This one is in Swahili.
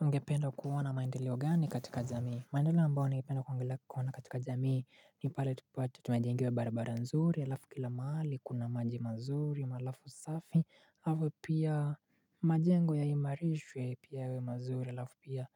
Mgependa kuona maendeleo gani katika jamii maendeleo ambao ningependa kuona katika jamii ni pale tupato tumajengiwe barabara nzuri alafu kila maali kuna maji mazuri alafu safi alafu pia majengo ya imarishwe pia yawemazuri alafu pia